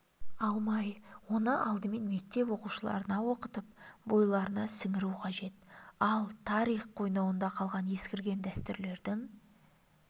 алмай оны алдымен мектеп оқушыларына оқытып бойларына сіңіру қажет ал тарих қойнауында қалған ескірген дәстүрлердің